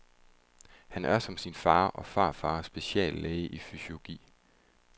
Han er som sin far og farfar speciallæge i fysiurgi.